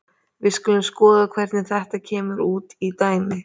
Við skulum skoða hvernig þetta kemur út í dæmi.